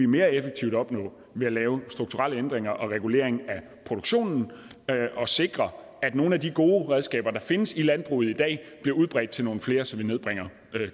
mere effektivt opnå ved at lave strukturelle ændringer og regulering af produktionen og sikre at nogle af de gode redskaber der findes i landbruget i dag bliver udbredt til nogle flere så vi nedbringer